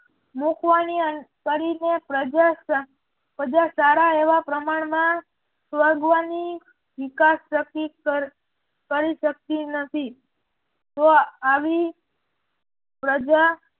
મુકવાની કરીને પ્રજા સારા એવા પ્રમાણમાં સ્વગવની નિકાસ પ્રતિ કરી શક્તિ નથી. જો આવી પ્રજા